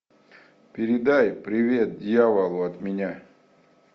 передай привет дьяволу от меня